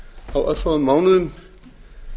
á örfáum mánuðum